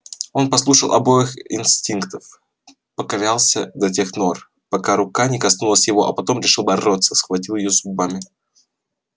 он послушался обоих инстинктов покорялся до тех нор пока рука не коснулась его а потом решил бороться и схватил её зубами